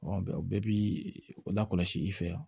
o bɛɛ bi lakɔlɔsi i fɛ yan